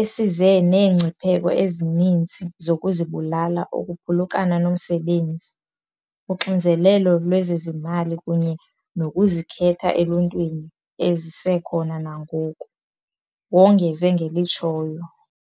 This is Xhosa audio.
esize neengcipheko ezininzi zokuzibulala ukuphulukana nomsebenzi, uxinzelelo lwezezimali kunye nokuzikhetha eluntwini ezisekhona nangoku," wongeze ngelitshoyo.